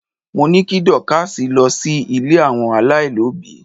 mo ni kí Dorcas ko sí ilè àwọn alailobi